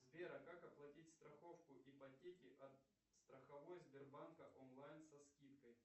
сбер а как оплатить страховку ипотеки от страховой сбербанка онлайн со скидкой